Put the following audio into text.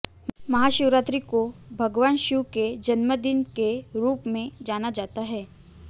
महा शिवरात्रि को भगवान शिव के जन्मदिन के रूप में जाना जाता है